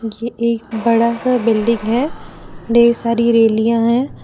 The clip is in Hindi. ये एक बड़ा सा बिल्डिंग है ढेर सारी रेलियां है।